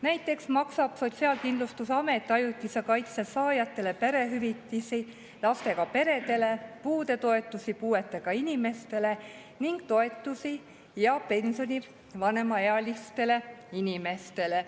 Näiteks maksab Sotsiaalkindlustusamet ajutise kaitse saajatele perehüvitisi lastega peredele, puudetoetusi puuetega inimestele ning toetusi ja pensioni vanemaealistele inimestele.